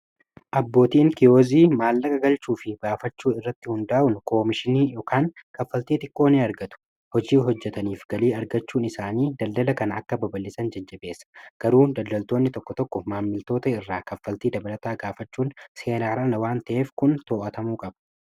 Abbootiin kiyoozii maallaqa galchuu fi baafachuu irratti hundaa'un koomishinii kan kaffaltii xiqqoo irraa argatu hojii hojjataniif galii argachuun isaanii daldala kana akka babal, isan jajjabeessa garuu daldaltoonni tokko tokko maammiltoota irraa kaffaltii dabalataa gaafachuun seeraan ala waan ta'eef kun too'atamuu qaba.